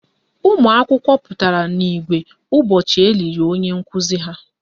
Ụmụakwụkwọ pụtara n' igwe ụbọchị eliri onye nkuzi ha.